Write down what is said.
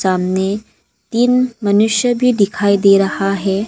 सामने तीन मनुष्य भी दिखाई दे रहा है।